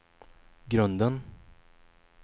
grunden